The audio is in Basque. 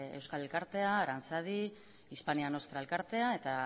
euskal elkartea aranzadi hispania nostra elkartea eta